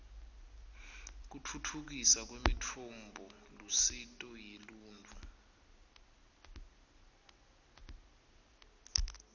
kutfutfukiswa kwemitfombolusito yeluntfu